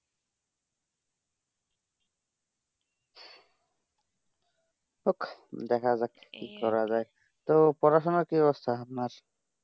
দেখা যাক কি করা যায় তো পড়াশোনার কি অবস্থা আপনার